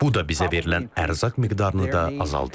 Bu da bizə verilən ərzaq miqdarını da azaldır.